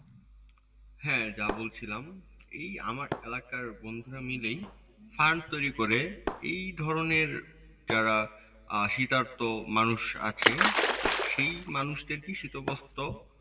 হ্যাঁ যা বলছিলাম এই এলাকার আমার বন্ধুরা মিলেই, fund তৈরি করে এই ধরনের যারা আহ শীতার্থ মানুষ আছেন। সেই মানুষদেরকে শীত বস্ত্র,